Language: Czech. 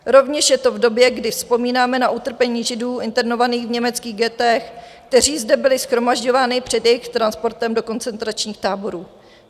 Rovněž je to v době, kdy vzpomínáme na utrpení Židů internovaných v německých ghettech, kteří zde byli shromažďováni před jejich transportem do koncentračních táborů.